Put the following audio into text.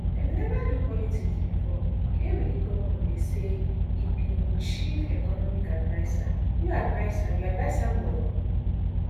dem neva do politics bifor e dey wit di govnor dey say e be im chief economic adviser you adviser you advise am well